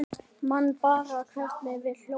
Man bara hvernig við hlógum.